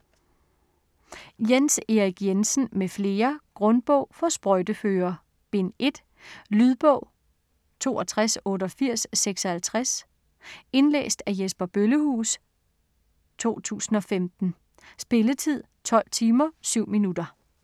Jens Erik Jensen m.fl. : Grundbog for sprøjteførere Bind 1. Lydbog 628856 Indlæst af Jesper Bøllehuus, 2015. Spilletid: 12 timer, 7 minutter.